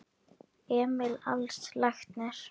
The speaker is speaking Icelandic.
Emil Als læknir.